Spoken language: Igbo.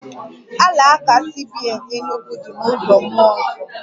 Alaka CBN Enugwu dị na uzo Mmụọ Nsọ